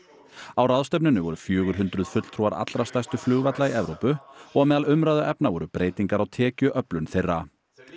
á ráðstefnunni voru fjögur hundruð fulltrúar allra stærstu flugvalla í Evrópu og á meðal umræðuefna voru breytingar á tekjuöflun þeirra